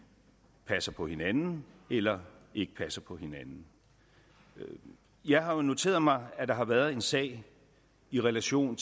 passer på hinanden eller ikke passer på hinanden jeg har jo noteret mig at der har været en sag i relation